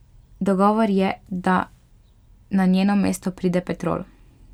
Dogovor je, da na njeno mesto pride Petrol.